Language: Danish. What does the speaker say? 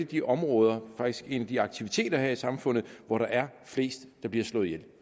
de områder faktisk en af de aktiviteter her i samfundet hvor der er flest der bliver slået ihjel